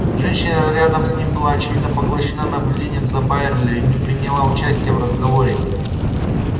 женщина рядом с ним была очевидно поглощена наблюдением за байерли и не приняла участия в разговоре